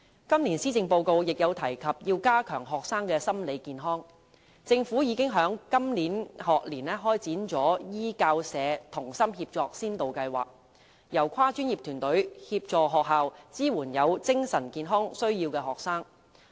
今年施政報告亦有提及須加強學生的心理健康，政府已在今個學年開展"醫教社同心協作先導計劃"，由跨專業團隊協助學校支援有精神健康需要的學生。